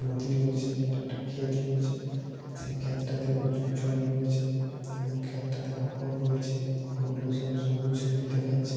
নদী রয়েছে একটা খেত রয়েছে । সেই খ্যাত টাতে প্রচুর জল রয়েছে । এবং খ্যাত টাতে আফোর রয়েছে এবং আফোর গুলো সব সবুজ সবুজ দেখাচ্ছে ।